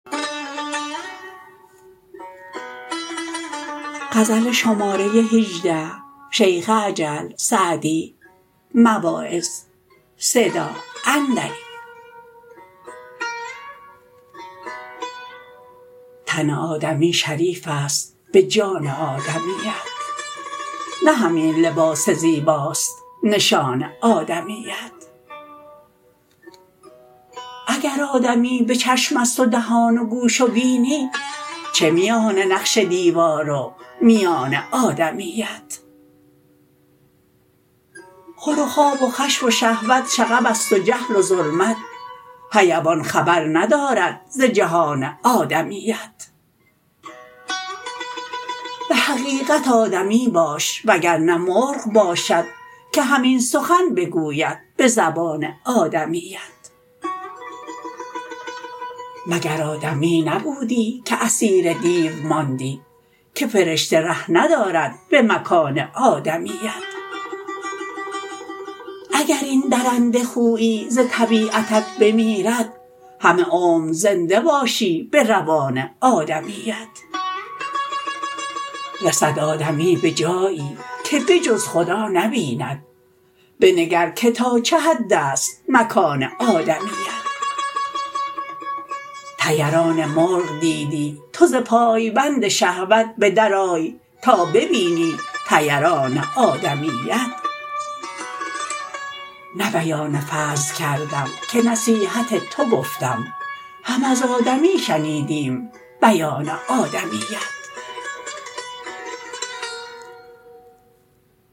تن آدمی شریف است به جان آدمیت نه همین لباس زیباست نشان آدمیت اگر آدمی به چشم است و دهان و گوش و بینی چه میان نقش دیوار و میان آدمیت خور و خواب و خشم و شهوت شغب است و جهل و ظلمت حیوان خبر ندارد ز جهان آدمیت به حقیقت آدمی باش وگر نه مرغ باشد که همین سخن بگوید به زبان آدمیت مگر آدمی نبودی که اسیر دیو ماندی که فرشته ره ندارد به مکان آدمیت اگر این درنده خویی ز طبیعتت بمیرد همه عمر زنده باشی به روان آدمیت رسد آدمی به جایی که به جز خدا نبیند بنگر که تا چه حد است مکان آدمیت طیران مرغ دیدی تو ز پایبند شهوت به در آی تا ببینی طیران آدمیت نه بیان فضل کردم که نصیحت تو گفتم هم از آدمی شنیدیم بیان آدمیت